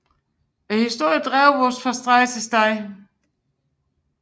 Historierne drev os fra sted til sted